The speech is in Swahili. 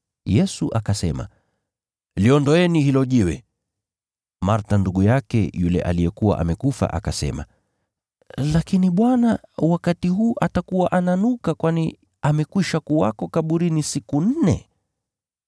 Yesu akasema, “Liondoeni hilo jiwe.” Martha ndugu yake yule aliyekuwa amekufa akasema, “Lakini Bwana, wakati huu atakuwa ananuka kwani amekwisha kuwa kaburini siku nne.”